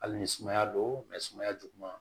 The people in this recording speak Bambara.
Hali ni sumaya don sumaya juguman